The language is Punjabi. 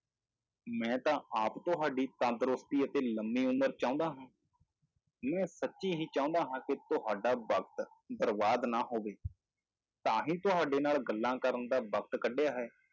ਮੈਂ ਤਾਂ ਆਪ ਤੁਹਾਡੀ ਤੰਦਰੁਸਤੀ ਅਤੇ ਲੰਮੀ ਉਮਰ ਚਾਹੁੰਦਾ ਹਾਂ, ਮੈਂ ਸੱਚੀ ਹੀ ਚਾਹੁੰਦਾ ਹਾਂ ਕਿ ਤੁਹਾਡਾ ਵਕਤ ਬਰਬਾਦ ਨਾ ਹੋਵੇ, ਤਾਂ ਹੀ ਤੁਹਾਡੇ ਨਾਲ ਗੱਲਾਂ ਕਰਨ ਦਾ ਵਕਤ ਕੱਢਿਆ ਹੈ।